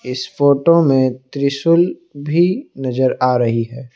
इस फोटो में त्रिशूल भी नजर आ रही है।